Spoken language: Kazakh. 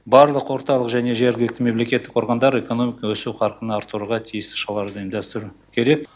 барлық орталық және жергілікті мемлекеттік органдар экономиканың өсуі қарқынын арттыруға тиісті шараларды ұйымдастыру керек